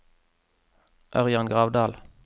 Ørjan Gravdal